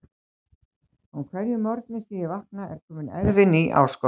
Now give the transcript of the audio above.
Á hverjum morgni sem ég vakna er komin erfið ný áskorun.